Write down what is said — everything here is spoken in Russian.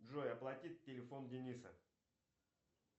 джой оплатить телефон дениса